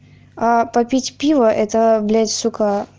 а попить пиво это блядь сука